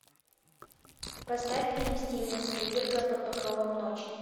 поставь фильм стивена спилберга под покровом ночи